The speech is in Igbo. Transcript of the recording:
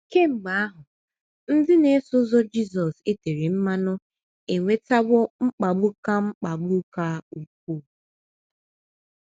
Kemgbe ahụ, ndị na - eso ụzọ Jizọs e tere mmanụ enwetawo mkpagbu ka mkpagbu ka ukwuu.